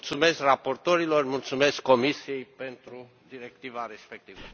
Mulțumesc raportorilor, mulțumesc Comisiei pentru Directiva respectivă.